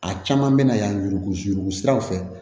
A caman bɛna yan yurugu yurugu siraw fɛ